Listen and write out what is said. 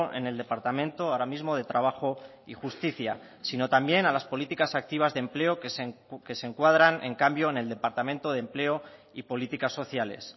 en el departamento ahora mismo de trabajo y justicia sino también a las políticas activas de empleo que se encuadran en cambio en el departamento de empleo y políticas sociales